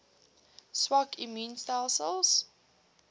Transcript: swak immuun stelsels